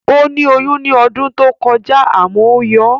Ó ní oyún ní ọdún tó kọjá àmọ́ ó yọ